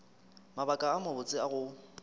mabaka a mabotse a go